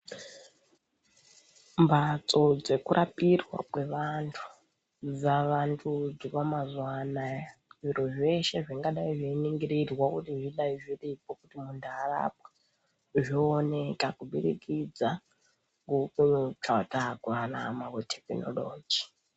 Mbatso dzekurapirwa kwevantu dzavandudzwa mazuva anaya zviro zveshe zvingadai zveiningirirwa kuti zvidai zviripo kuti muntu arapwe, zvooneka kubudikidza.......tekinoroji.